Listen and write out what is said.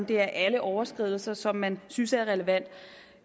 det alle overskridelser som man synes er relevante